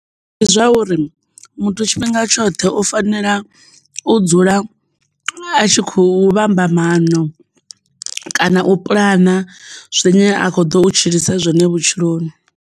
Ndi zwauri muthu tshifhinga tshoṱhe u fanela u dzula a tshi kho vhamba maano kana u pulana zwine a kho ḓou tshilisa zwone vhutshiloni.